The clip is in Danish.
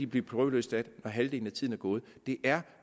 blive prøveløsladt når halvdelen af tiden er gået det er